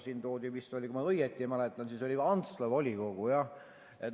Siin toodi näiteks vist, kui ma õigesti mäletan, Antsla volikogu.